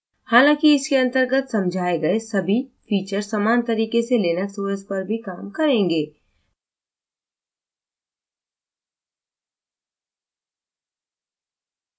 हालाँकि इसके अंतर्गत समझाए गए सभी फीचर समान तरीक़े से लिनक्स os पर भी os करेंगे